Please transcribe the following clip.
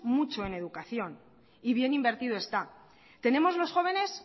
mucho en educación y bien invertido está tenemos los jóvenes